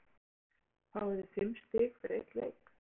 Hafþór Gunnarsson: Fáið þið fimm stig fyrir einn leik?